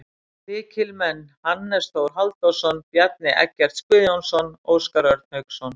Lykilleikmenn: Hannes Þór Halldórsson, Bjarni Eggerts Guðjónsson, Óskar Örn Hauksson.